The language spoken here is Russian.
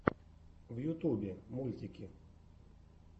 в ютубе мультики